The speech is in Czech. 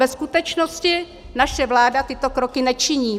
Ve skutečnosti naše vláda tyto kroky nečiní.